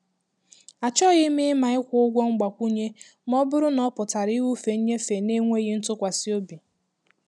Achọghị m ịma ịkwụ ụgwọ mgbakwunye ma ọ bụrụ na ọ pụtara ịwụfe nnyefe na-enweghị ntụkwasị obi.